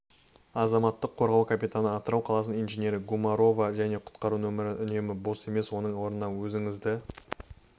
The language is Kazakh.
азаматтық қорғау капитаны атырау қаласының инженері гумарова және құтқару нөмірлері үнемі бос емес оның орнына өзіңізді